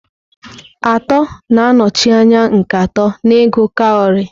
Atọ na-anọchi anya nke atọ n'ịgụ kawarị.